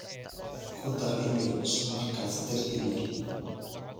ku dar iimayl cusub markaas dir iimayl